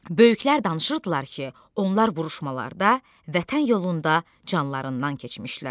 Böyüklər danışırdılar ki, onlar vuruşmalarda vətən yolunda canlarından keçmişlər.